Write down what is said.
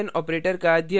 यह भी ऑपरेंड की तुलना करता है